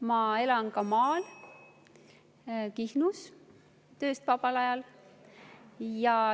Ma elan ka maal, Kihnus, tööst vabal ajal.